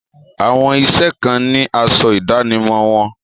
Àwọn iṣẹ́ kan ni asọ ìdánimọ̀ wọn.